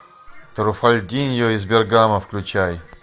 труффальдино из бергамо включай